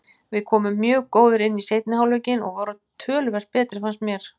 Við komum mjög góðir inn í seinni hálfleikinn og vorum töluvert betri fannst mér.